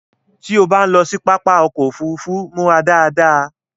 Tí ó bá ń lọ sí pápá ọkọ òfúrúúfú, múra dáadáa